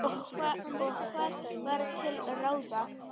Og hvað var til ráða?